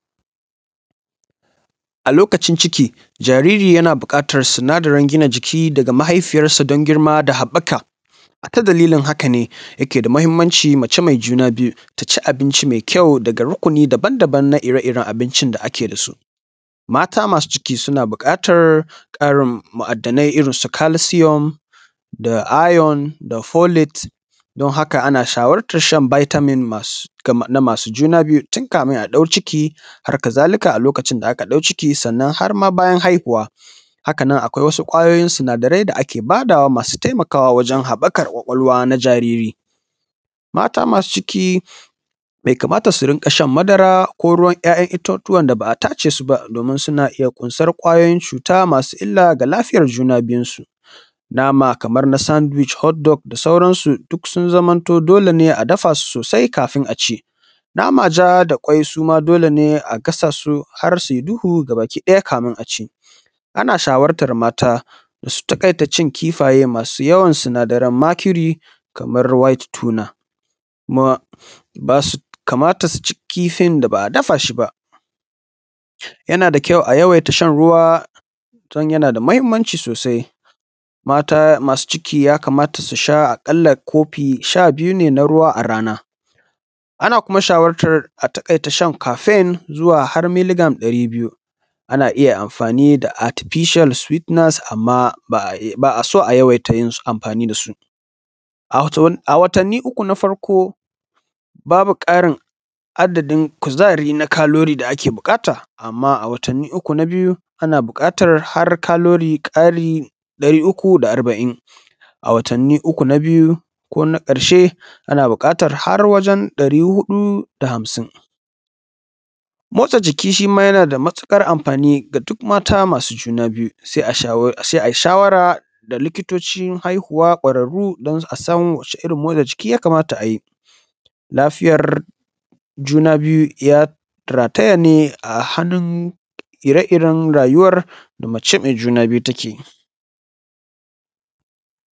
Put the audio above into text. A lokacin ciki jariri yana buƙatar sinadarin gina jiki daga mahifiyarsa don girma da haɓaka ta dalilin haka ne yake da mahimmanci mace mai juna biyu ta ci abinci mai ƙyau daga rukuni daban-daban na ire-iren abincin da ake da su. Mata masu ciki suna buƙatar kari ma'adanai irin su calcium da iron da folit fon haka ana shawartar shan vitamins namasu juna biyu. Haka zalika a lokacin da aka ɗauka ciki sannan ma har bayan haihuwa. Haka nan akwai wasu kwayoyin sinadarai da ake bayarwa masu taimakawa wajen haɓakar ƙwaƙwalwa na jariri. Mata masu ciki bai kamta su riƙa saha madaba ba ko ruwan ya'yan itatuwa da ba a tace ba suna iya ƙunsar ƙwayoyin cuta masu illa ga lafiyar junansu duk sun zama dole a dafa su sosai kafin a ci. Nama ja da kwai suma dole ne a gasa su har su yi duhu kamun a ci. Ana shawartar mata da su tsakaita cin kifaye madu yawan sinadarai na Mercury kamar whitetuner kuma bai kamata su ci kifin da ba a dafa shi ba. Yana da ƙyau a yawaita shan ruwa don yana da mahimmanci sosai. Mata masu ciki ya kamata a kalla su sha kofi sha biyu ne na a rana. Ana kuma shawartar a takaita shan cafin zuwa har mile gram ɗari biyu a riƙa yin amfani da atficial amma ba a so a takaita yin amafani da su. A watanni uku na farko babu ƙarin adadin kuzari na kalori da ake buƙata. Amma a watanni uku na biyu ana buƙatar har kalori karin darin uku da arba'in, a watanni uku na biyu ko na ƙarshe ana buƙatar har wajen dari huɗu da hamsin. Motsa jiki shi ma yana da matuƙar amfani ga duk mata masu juna biyu saia. Yi shawara da likitocin haihuwa ƙwararru don a san wacce irin motsajiki ya kamata a yi. Lafiyar juna biyu ya rataya ne a hannun ire-iren rayuwar da mace mai juna biyu take yi.